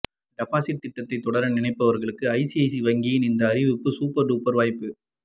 deposit திட்டத்தை தொடர நினைப்பவர்களுக்கும் ஐசிஐசிஐ வங்கியின் இந்த அறிவிப்பு சூப்பர் டூப்பர் வாய்ப்பு